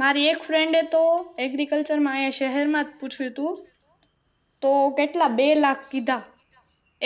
મારી એક Friend એ તો Agriculture માં અહીં શહેર માં જ પૂછ્યું તું તો કેટલા બે લાખ કીધા,